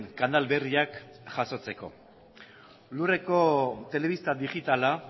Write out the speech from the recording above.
kanal berriak jasotzeko lurreko telebista digitala